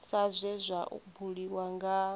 sa zwe zwa buliwa nga